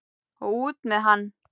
Og út með hann!